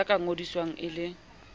ya ka ngodiswang e le